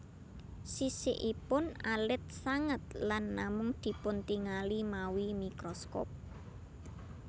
Sisikipun alit sanget lan namung dipuntingali mawi mikroskop